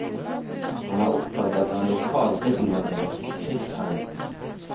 Han er oppkalt etter en lokal middelaldersk krigsherre.